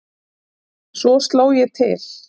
Svo sló ég til.